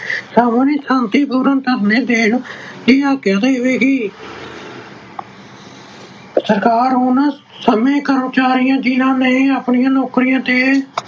ਸਰਬ ਸੰਮਤੀ ਪੂਰਨ ਧਰਨੇ ਦੇਣ ਦੀ ਆਗਿਆ ਦੇਵੇਗੀ। ਸਰਕਾਰ ਉਹਨਾਂ ਸਾਰੇ ਕਰਮਚਾਰੀਆਂ ਜਿਹਨਾਂ ਨੇ ਆਪਣੀਆਂ ਨੌਕਰੀਆਂ ਤੇ